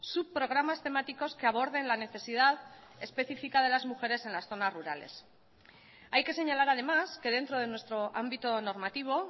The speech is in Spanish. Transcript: subprogramas temáticos que aborden la necesidad específica de las mujeres en las zonas rurales hay que señalar además que dentro de nuestro ámbito normativo